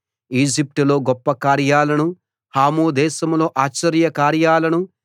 ఈజిప్టులో గొప్ప కార్యాలను హాము దేశంలో ఆశ్చర్యకార్యాలను